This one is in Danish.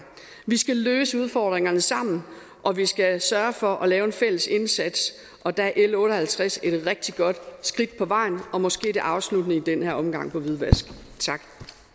vi skal løse udfordringerne sammen og vi skal sørge for at lave en fælles indsats og der er l otte og halvtreds et rigtig godt skridt på vejen og måske det afsluttende i den her omgang hvidvask tak